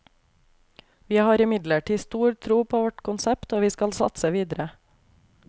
Vi har imidlertid stor tro på vårt konsept, og vi skal satse videre.